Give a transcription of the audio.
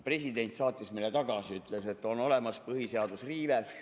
President saatis selle eelnõu meile tagasi – ütles, et on olemas põhiseaduse riive.